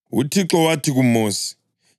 UThixo wathi kuMosi,